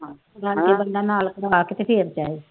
ਜਾਂਦੇ ਹੋਏ ਬੰਦਾ ਨਾਲ ਕਰਵਾ ਕੇ ਤੇ ਫੇਰ ਜਾਏ।